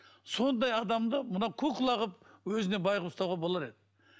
сондай адамды мына кукла қылып өзіне бай қылып ұстауға болар еді